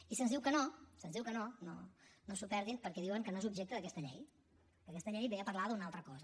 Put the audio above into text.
i se’ns diu que no se’ns diu que no no no s’ho perdin perquè diuen que no és objecte d’aquesta llei que aquesta llei ve a parlar d’una altra cosa